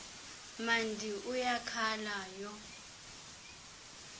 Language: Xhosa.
mandi uyakhala yho